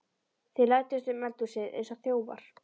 Þeir læddust um eldhúsið eins og þjófar.